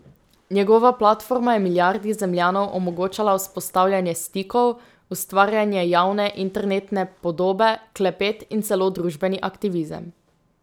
Njegova platforma je milijardi Zemljanov omogočala vzpostavljanje stikov, ustvarjanje javne internetne podobe, klepet in celo družbeni aktivizem.